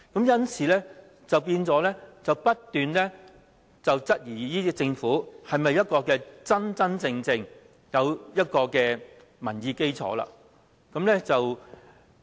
因此，市民不斷質疑這個政府是否一個真真正正有民意基礎的政府。